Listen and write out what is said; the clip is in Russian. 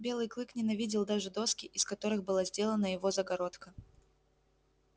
белый клык ненавидел даже доски из которых была сделана его загородка